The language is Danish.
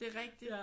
Det er rigtigt